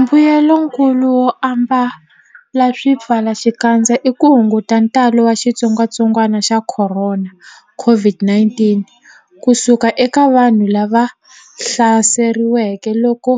Mbuyelonkulu wo ambala swipfalaxikandza i ku hunguta ntalo wa xitsongwantsongwana xa Khorona, COVID-19 ku suka eka vanhu lava hlaseriweke loko